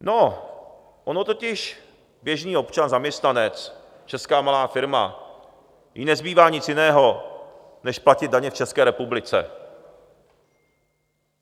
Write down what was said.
No, ono totiž běžný občan, zaměstnanec, česká malá firma, jí nezbývá nic jiného než platit daně v České republice.